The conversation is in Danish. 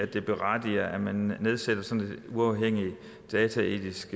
det berettiger at man nedsætter sådan et uafhængigt dataetisk